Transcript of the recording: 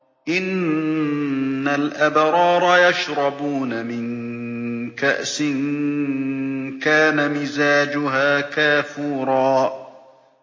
إِنَّ الْأَبْرَارَ يَشْرَبُونَ مِن كَأْسٍ كَانَ مِزَاجُهَا كَافُورًا